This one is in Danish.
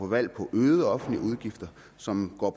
valg på øgede offentlige udgifter som går